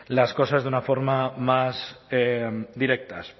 las cosas de una forma más directa